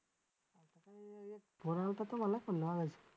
phone आलता तुम्हाला पण लावायचं.